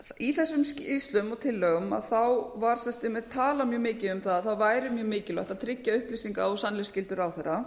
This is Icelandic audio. í þessum skýrslum og tillögum var talað mjög mikið um það að það væri mjög mikilvægt að tryggja upplýsinga og sannleiksgildi ráðherra